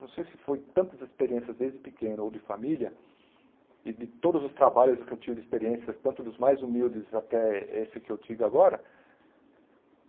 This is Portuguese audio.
Não sei se foi tantas experiências desde pequeno ou de família e de todos os trabalhos que eu tive, de experiências tanto dos mais humildes até esse que eu tive agora.